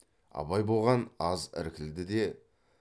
абай бұған аз іркілді де